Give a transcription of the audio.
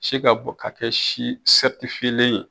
Si ka bɔ ka kɛ si ye